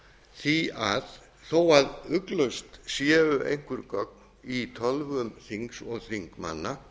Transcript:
því að þó að ugglaust séu einhver gögn í tölvum þings og þingmanna